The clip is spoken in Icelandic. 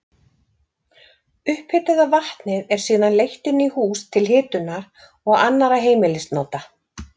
Upphitaða vatnið er síðan leitt inn í hús til hitunar og annarra heimilisnota.